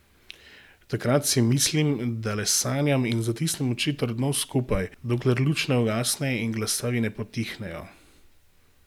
Takrat si mislim, da le sanjam, in zatisnem oči trdno skupaj, dokler luč ne ugasne in glasovi ne potihnejo.